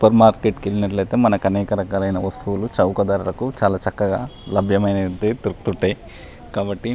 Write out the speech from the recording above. Super market కి వెళ్ళినట్లైతే మనకి అనేక వస్తువులు చవక ధరలో లబయమైనవి ఉంటాయి కాబట్టి.